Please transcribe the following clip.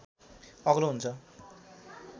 अग्लो हुन्छ